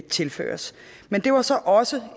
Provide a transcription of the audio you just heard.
tilføres men det var så også